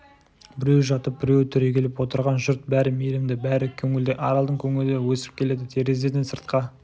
біреуі жатып біреуі түрегеліп отырған жұрт бәрі мейірімді бәрі көңілді аралдың көңілі өсіп келеді терезеден сыртқа